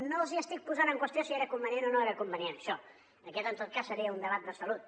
no els estic posant en qüestió si era convenient o no era convenient això aquest en tot cas seria un debat de salut